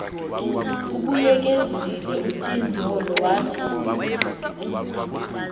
ubuyekezile utyindyolo wathi